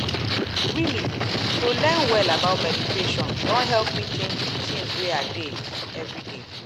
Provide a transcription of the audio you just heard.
really to learn well about meditation don help me change d things wey i dey everyday.